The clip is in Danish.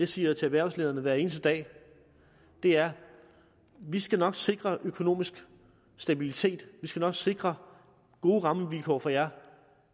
siger til erhvervslederne hver eneste dag er vi skal nok sikre økonomisk stabilitet vi skal nok sikre gode rammevilkår for jer